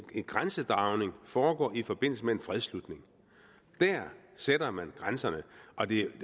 grænsedragning foregår i forbindelse med en fredsslutning der sætter man grænserne og det